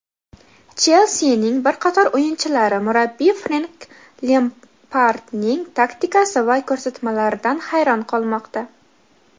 "Chelsi"ning bir qator o‘yinchilari murabbiy Frenk Lempardning taktikasi va ko‘rsatmalaridan hayron qolmoqda.